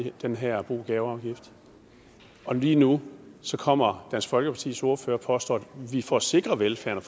den her bo og gaveafgift lige nu kommer dansk folkepartis ordfører og påstår at vi for at sikre velfærden